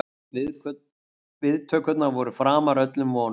Viðtökurnar voru framar öllum vonum